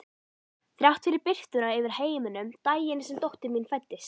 Þrátt fyrir birtuna yfir heiminum daginn sem dóttir mín fæddist.